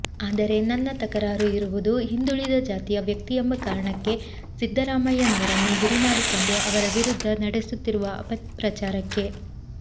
ಆದರೆ ನನ್ನ ತಕರಾರು ಇರುವುದು ಹಿಂದುಳಿದ ಜಾತಿಯ ವ್ಯಕ್ತಿಯೆಂಬ ಕಾರಣಕ್ಕೆ ಸಿದ್ದರಾಮಯ್ಯನವರನ್ನು ಗುರಿ ಮಾಡಿಕೊಂಡು ಅವರ ವಿರುದ್ಧ ನಡೆಸುತ್ತಿರುವ ಅಪಪ್ರಚಾರಕ್ಕೆ